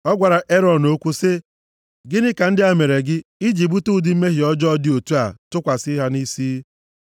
Ọ gwara Erọn okwu sị, “Gịnị ka ndị a mere gị i ji bute ụdị mmehie ọjọọ dị otu a tụkwasị ha nʼisi?”